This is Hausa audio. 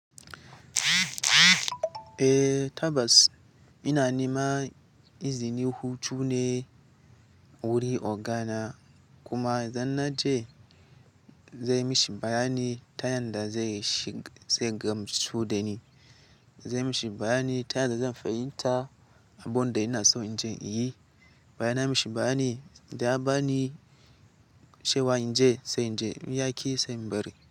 Eh, Tabbas ina neman izinin hutu ne wurin ogana, kuma idan nace zan mishi bayani ta yanda zai shiga, zai gamsu da ni. Zan mishi bayani ta yadda zan fahimta, abun da ina so inje in yi. Bayan na mishi bayani, idan ya bani cewa inje sai inje, in ya ki sai in bari.